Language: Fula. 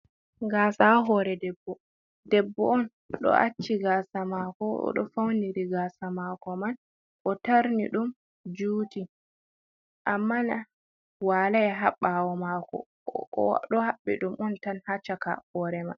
Gaasa haa hoore debbo, debbo on, o ɗo acci gaasa maako, o ɗo fawniri gaasa maɗko man, o tarni ɗum juuti, amma na walay haa ɓaawo maako, o ɗo haɓɓi ɗum on tan haa caka hoore may.